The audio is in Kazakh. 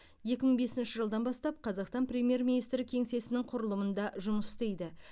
екі мың бесінші жылдан бастап қазақстан премьер министрі кеңсесінің құрылымында жұмыс істейді